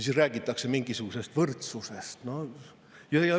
Siis räägitakse mingisugusest võrdsusest.